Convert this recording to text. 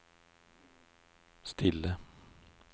stille